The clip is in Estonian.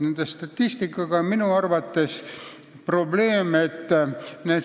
Nende statistikaga on minu arvates probleem.